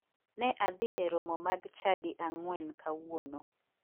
Ne adhi e romo mag chadi ang'wen kawuono.